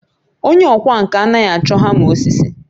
Onye ọkwá nkà anaghị achọ hama osisi